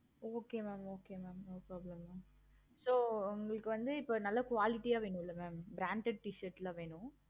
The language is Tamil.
okay mam okay mam no problem mam so உங்களுக்கு வந்து நான் இப்போ quality வேணும் mam branded t-shirt ல வேணும்.